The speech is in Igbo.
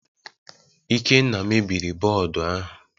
Ikenna mebiri bọọdụ ahụ